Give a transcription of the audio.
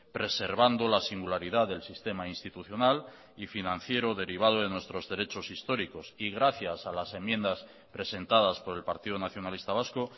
preservando la singularidad del sistema institucional y financiero derivado de nuestros derechos históricos y gracias a las enmiendas presentadas por el partido nacionalista vasco